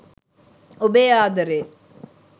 ඔබේ ආදරේ